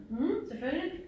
Mh selvfølgelig